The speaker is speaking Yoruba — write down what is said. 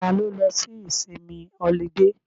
Ta ló lọ sí ìsinmi ọlidé?